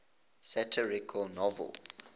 satirical novels